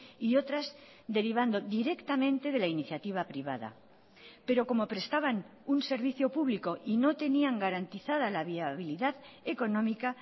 y otras derivando directamente de la iniciativa privada pero como prestaban un servicio público y no tenían garantizada la viabilidad económica